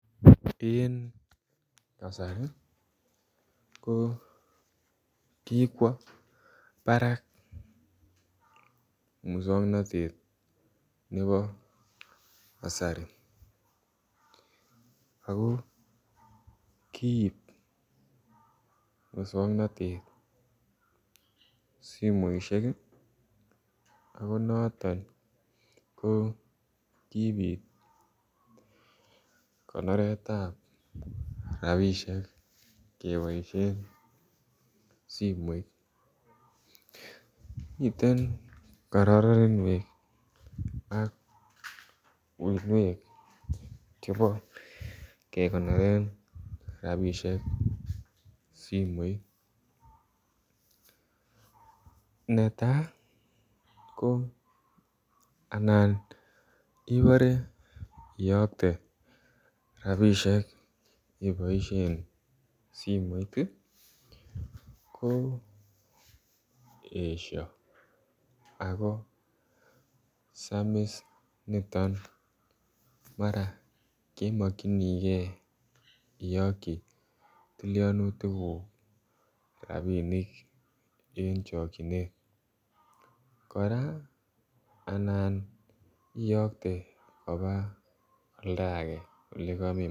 Eng kasari ko kikwa Barak musangnatet nebo kasari ako kiib musangnatet simoisiek ako notoon kobiit konoret ab rapisheek kebaisheen simoit miten kararanweek ak uinweek chebo kegonoreen rapisheek simoit netai anan ibore iyaktee rapisheek iboisien simoit ii ko esha ako samis nitoon mara kemakyigei iyakyii tilianutiik guug rapinik eng chakyineet kora imuchii iyaktei kobaa ole kamemachei.